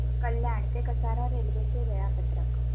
कल्याण ते कसारा रेल्वे चे वेळापत्रक